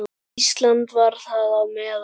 Ísland var þar á meðal.